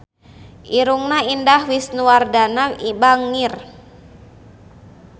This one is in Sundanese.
Irungna Indah Wisnuwardana bangir